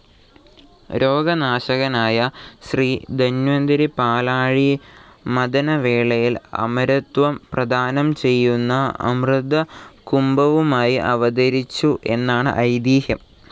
രോഗനാശകനായ ശ്രീ ധന്വന്തരി പാലാഴി മഥനവേളയിൽ അമരത്വം പ്രദാനം ചെയ്യുന്ന അമൃതകുംഭവുമായി അവതരിച്ചു എന്നാണ് ഐതിഹ്യം.